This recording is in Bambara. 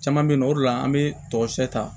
Caman bɛ yen nɔ o de la an bɛ tɔgɔ sɛbɛ ta